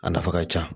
A nafa ka ca